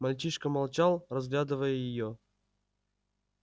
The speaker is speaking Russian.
мальчишка молчал разглядывая её